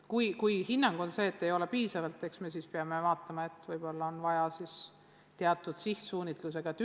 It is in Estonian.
Kui siiski arvatakse, et õppevahendeid ei ole piisavalt, eks me siis peame vaatama, võib-olla on vaja sihtsuunitlusega programmi.